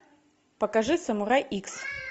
покажи самурай икс